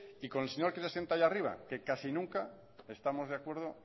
y con el señor que se sienta ahí arriba que casi nunca estamos de acuerdo